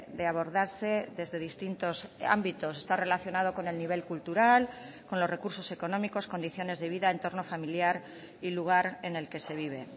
de abordarse desde distintos ámbitos está relacionado con el nivel cultural con los recursos económicos condiciones de vida entorno familiar y lugar en el que se vive